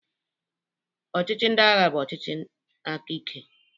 ọchịchị ndị agha bụ ọchịchị aka ike